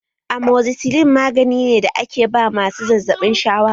Amoxicilin magani ne da ake ba masu zazzaɓin shawara